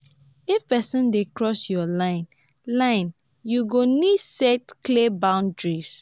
if pesin dey cross yur line line yu go nid set clear boundaries.